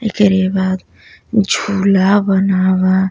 एकरे बाद झूला बना बा।